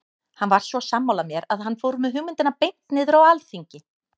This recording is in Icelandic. Hann var svo sammála mér að hann fór með hugmyndina beint niður á alþingi.